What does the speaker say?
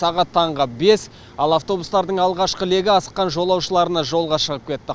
сағат таңғы бес ал автобустардың алғашқы легі асыққан жолаушыларына жолға шығып кетті